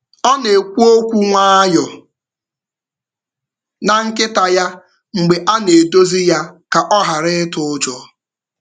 Ọ na-ekwu okwu nwayọọ na nkịta ya mgbe a na-edozi ya ka ọ ghara ịtụ ụjọ.